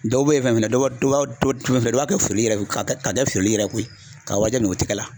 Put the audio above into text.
Dɔ bɛ ye fɛnɛ ,dɔ b'a kɛ soyali yɛrɛ k'a kɛ feereli yɛrɛ ye koyi k'a warijɛ minɛ u tɔgɔ la.